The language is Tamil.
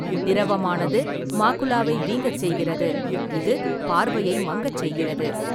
திரவமானது மாக்குலாவை வீங்கச் செய்கிறது, இது பார்வையை மங்கச் செய்கிறது.